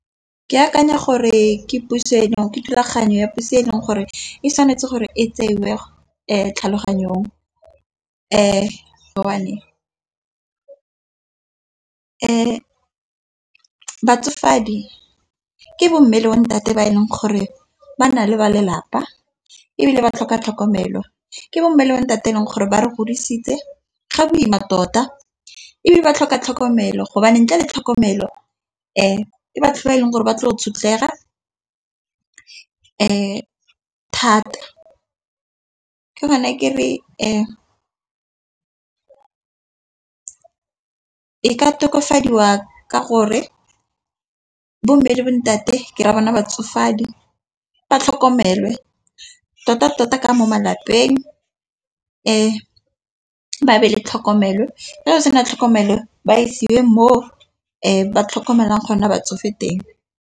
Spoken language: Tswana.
Ke akanya gore ke puso eno ke thulaganyo ya puso e leng gore e tshwanetse gore e tseiwe tlhaloganyong. Batsofadi ke bommel le bontate ba e leng gore ba na le ba lelapa ebile ba tlhoka tlhokomelo. Ke bomme le bontate e leng gore ba re godisitse ga boima tota ebile ba tlhoka tlhokomelo go bane ntle le tlhokomelo batho ba e leng gore ba tle go tshwenyega thata ke gone kere e e ka tokafadiwa ka gore bomme le bontate ke ra bona batsofe madi ba tlhokomele tota tota ka mo malapeng e ba be le tlhokomelo fa go sena tlhokomelo ba isiwe mo ba tlhokomelang gona batsofe teng.